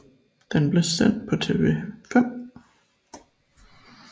Den blev sendt på TV 5